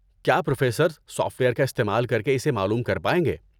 کیا professors software کا استعمال کر کے اسے معلوم کر پائیں گے؟